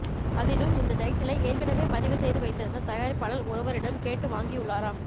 அதிலும் இந்த டைட்டிலை ஏற்கனவே பதிவு செய்து வைத்திருந்த தயாரிப்பாளர் ஒருவரிடம் கேட்டு வாங்கியுள்ளாராம்